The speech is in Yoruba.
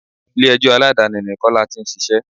Ilé ẹjọ́ Aládàáni ni Kọ́lá tí ń ṣíṣe.